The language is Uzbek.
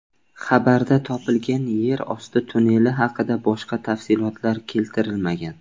Xabarda topilgan yer osti tunneli haqida boshqa tafsilotlar keltirilmagan.